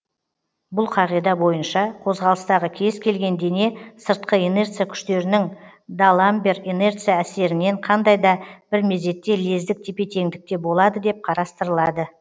бұл қағида бойынша қозғалыстағы кез келген дене сыртқы инерция күштерінің д аламбер инерция әсерінен қандай да бір мезетте лездік тепе теңдікте болады деп қарастырылады